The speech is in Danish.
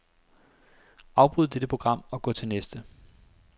Afbryd dette program og gå til næste.